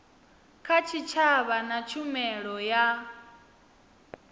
kha tshitshavha na tshumelo ya